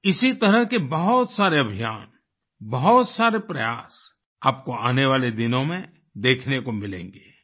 इसी तरह के बहुत सारे अभियान बहुत सारे प्रयास आपको आने वाले दिनों में देखने को मिलेंगे